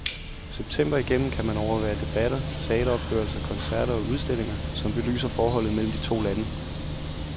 September igennem kan man overvære debatter, teateropførelser, koncerter og udstillinger, som belyser forholdet mellem de to lande.